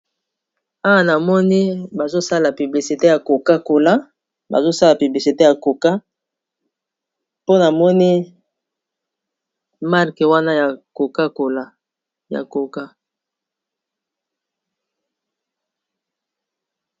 Awa namoni bazosala piblisite ya kokakola bazosala piblisite ya koka mpona moni marke wana yakakolaya koka.